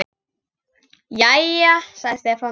Jæja, sagði Stefán.